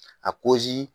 A kozi